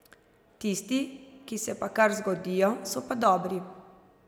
Tisti, ki se pa kar zgodijo, so pa dobri.